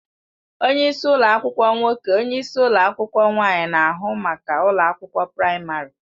Onye isi ụlọ akwụkwọ nwoke / onyeisi ụlọ akwụkwọ nwaanyị na-ahụ maka ụlọ akwụkwọ praịmarị.